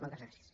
moltes gràcies